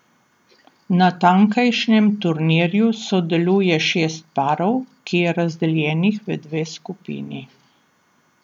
Na tamkajšnjem turnirju sodeluje šest parov, ki je razdeljenih v dve skupini.